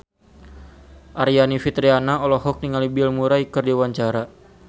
Aryani Fitriana olohok ningali Bill Murray keur diwawancara